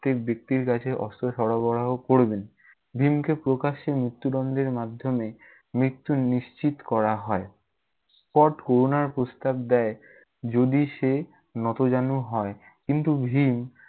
প্রত্যেক ব্যক্তির কাছে অস্ত্র সরবরাহ করবেন। ভীমকে প্রকাশ্যে মৃত্যুদণ্ডের মার্ধ্যমে মৃত্যু নিশ্চিত করা হয়। স্কট প্রস্তাব দেয়, যদি সে নতজানু হয়। কিন্তু ভীম-